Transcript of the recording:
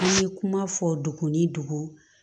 An ye kuma fɔ dugu ni dugu